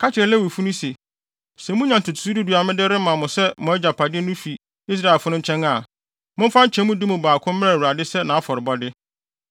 “Ka kyerɛ Lewifo no se, ‘Sɛ munya ntotoso du du a mede rema mo sɛ mo agyapade no fi Israelfo no nkyɛn a, momfa nkyɛmu du mu baako mmrɛ Awurade sɛ nʼafɔrebɔde.